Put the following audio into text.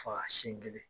Fa sin kelen